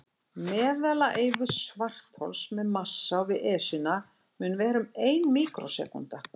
Meðalævi svarthols með massa á við Esjuna mun vera um ein míkrósekúnda.